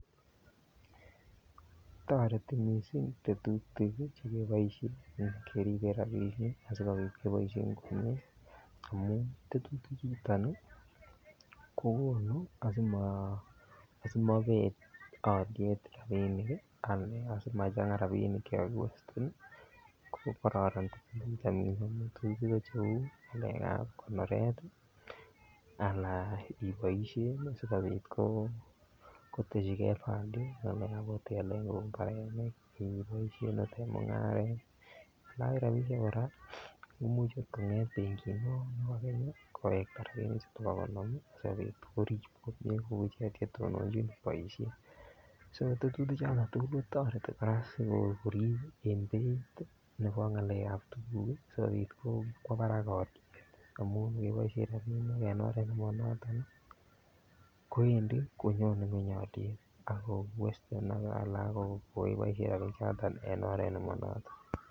Toreti missing tetutik chekiboisien keriben rabisiek asikobit keboisien komie amuun tetutik chuton ih kokonu asimobet aliet rabinik ih, anan simacheng'a rabinik chekakiwesten ih kokaranan missing Allan iboisien asikobit kotesikie value chekiboisien en mung'aret imuch kimong rabinik kowekta rabinik chuton bo asikorib komie kotononchi boisiet so tetutik choton tugul kotareti kora sikorib en beit nebo ng'alekab tuguk sikobit kwo barak aliet amuun ingeboisien rabinik en oret nema noton ih koendi konyone ng'uany aliet akoiweste. Iboisien rabinik choton en oret Nemo noton